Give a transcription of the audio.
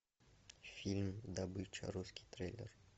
фильм добыча русский трейлер